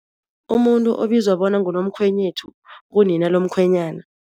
Umuntu obizwa bona ngunomkhwenyethu ngunina lomkhwenyana.